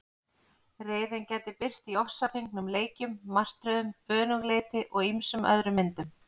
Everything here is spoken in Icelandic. Reiðin gæti birst í ofsafengnum leikjum, martröðum, önuglyndi og ýmsum öðrum myndum.